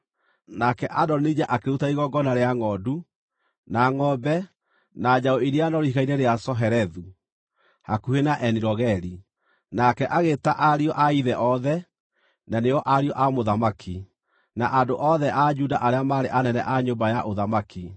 Nake Adonija akĩruta igongona rĩa ngʼondu, na ngʼombe, na njaũ iria noru Ihiga-inĩ rĩa Zohelethu, hakuhĩ na Eni-Rogeli. Nake agĩĩta ariũ a ithe othe, na nĩo ariũ a mũthamaki, na andũ othe a Juda arĩa maarĩ anene a nyũmba ya ũthamaki,